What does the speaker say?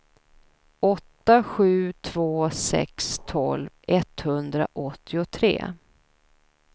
åtta sju två sex tolv etthundraåttiotre